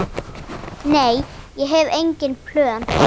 Nei, ég hef engin plön.